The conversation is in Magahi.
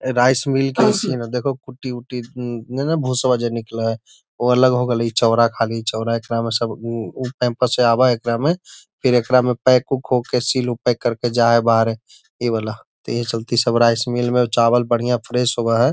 ए भाई में देखो पुटी-ऊटी निकला है वो अलग हो गइल है वो चौड़ा खली चौड़ा इतना में सब उ उ कैंपस से आव एकरा में फिर एकरा में पैक उक हो के सील पैक करके जाए बाहरे इ वाला त इहे चलते में स्मेल में चावल बढ़िया फ्रेश होव है।